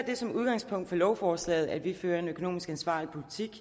det som udgangspunkt for lovforslaget at vi fører en økonomisk ansvarlig politik